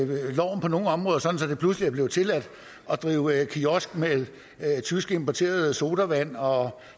det pludselig er blevet tilladt at drive kiosk med tysk importerede sodavand og